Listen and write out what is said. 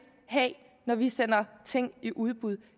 have når vi sender ting i udbud